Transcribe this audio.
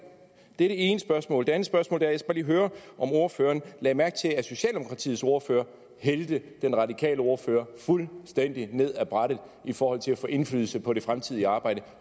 det ene spørgsmål det andet spørgsmål er lige skal høre om ordføreren lagde mærke til at socialdemokratiets ordfører hældte den radikale ordfører fuldstændig ned af brættet i forhold til at få indflydelse på det fremtidige arbejde